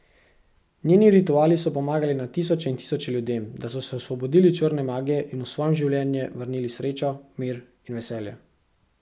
Njeni rituali so pomagali na tisoče in tisoče ljudem, da so se osvobodili črne magije in v svoje življenje vrnili srečo, mir in veselje.